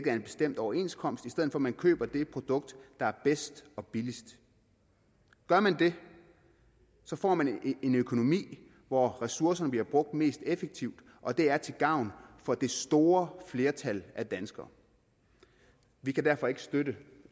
en bestemt overenskomst i stedet for at man køber det produkt der er bedst og billigst gør man det får man en økonomi hvor ressourcerne bliver brugt mest effektivt og det er til gavn for det store flertal af danskere vi kan derfor ikke støtte